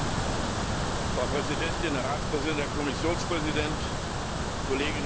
Frau Präsidentin, Herr Ratspräsident, Herr Kommissionspräsident, Kolleginnen und Kollegen!